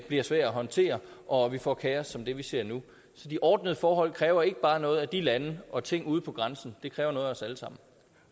bliver svær at håndtere og vi får kaos som det vi ser nu så de ordnede forhold kræver ikke bare noget af de lande og ting ude på grænsen det kræver noget af os alle sammen